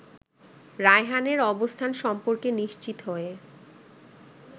রায়হানের অবস্থান সম্পর্কে নিশ্চিত হয়ে